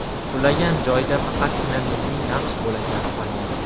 Qulagan joyda faqatgina milliy naqsh bo‘laklari qolgan.